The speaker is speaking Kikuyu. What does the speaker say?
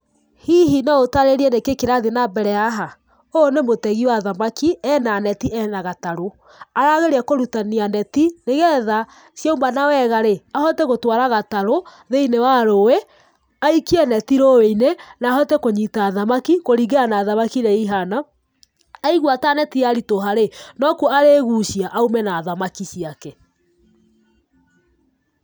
Hihi no ũtaarĩrie nĩkĩĩ kĩrathiĩ na mbere haha? Ũyũ nĩ mũtegi wa thamaki, ena neti, ena gatarũ. Arageria kũrutania neti, nĩgetha ciamuna wega rĩ, ahote gũtwara gatarũ thĩinĩ wa rũi, aikie neti rũĩ-ini, na ahote kũnyita thamaki, kũringana na thamaki iria ihana, aigua ta neti ya ritũha rĩ, no kuo arĩgucia aume na thamaki ciake.